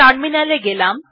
টার্মিনালে গেলাম